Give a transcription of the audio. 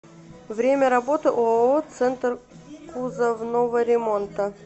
время работы ооо центр кузовного ремонта